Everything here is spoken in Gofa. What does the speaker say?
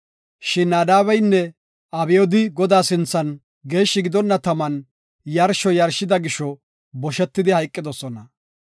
Shin Naadabeynne Abyoodi Godaa sinthan geeshshi gidonna taman yarsho yarshida gisho boshan hayqidosona.